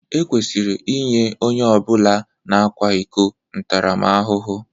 Ekwesịrị inye onye ọ bụla na-akwa iko ntaramahụhụ